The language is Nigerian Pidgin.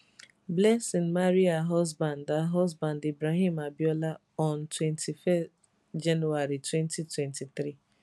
blessing marry her husband her husband ibrahim abiola on 21 january 2023